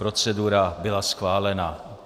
Procedura byla schválena.